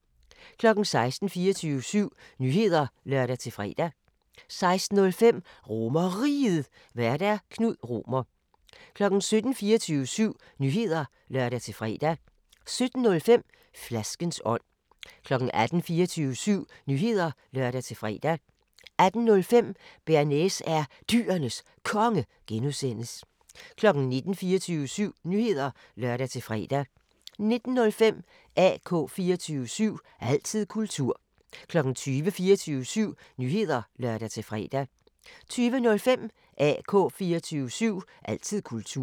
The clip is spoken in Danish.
16:00: 24syv Nyheder (lør-fre) 16:05: RomerRiget, Vært: Knud Romer 17:00: 24syv Nyheder (lør-fre) 17:05: Flaskens ånd 18:00: 24syv Nyheder (lør-fre) 18:05: Bearnaise er Dyrenes Konge (G) 19:00: 24syv Nyheder (lør-fre) 19:05: AK 24syv – altid kultur 20:00: 24syv Nyheder (lør-fre) 20:05: AK 24syv – altid kultur